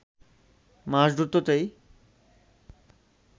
মাস দুটোতেই